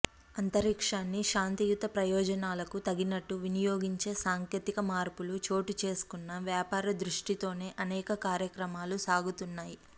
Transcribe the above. అంతరిక్షాన్ని శాంతియుత ప్రయోజనాలకు తగినట్టు వినియోగించే సాంకేతిక మార్పులు చోటు చేసుకున్నా వ్యాపార దృష్టితోనే అనేక కార్యక్రమాలు సాగుతున్నాయి